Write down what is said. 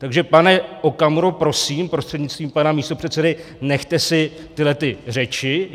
Takže pane Okamuro, prosím prostřednictvím pana místopředsedy, nechte si tyhle řeči.